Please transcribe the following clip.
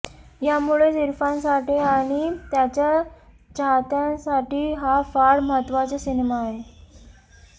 यामुळेच इरफानसाठी आणि त्याच्या चाहत्यांसाठी हा फार महत्त्वाचा सिनेमा आहे